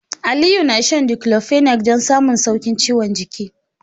Aliyu na shan Diclofenac don samun sauƙin ciwon jiki.